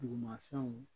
Dugumafɛnw